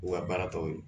U ka baara tɔ ye